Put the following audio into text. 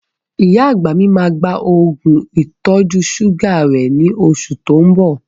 Ìyá àgbà mi máa gba Ògùn ìtọ̀-ṣúgà rẹ ní oṣù tó ń bọ